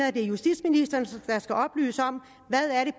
at det er justitsministeren der skal oplyse om hvad